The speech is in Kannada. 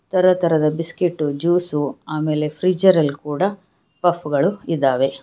ತರತರದ ಬಿಸ್ಕೆಟ್ಟು ಜ್ಯೂಸು ಅಮೇಲೆ ಫ್ರೀಜರಲ್ ಕೂಡ ಪಫ್ ಗಳು ಇದಾವೆ.